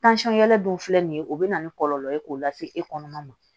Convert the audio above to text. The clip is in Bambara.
yɛrɛ dun filɛ nin ye o bɛ na ni kɔlɔlɔ ye k'o lase e kɔnɔna ma